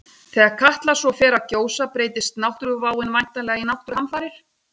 Þegar Katla svo fer að gjósa breytist náttúruváin væntanlega í náttúruhamfarir.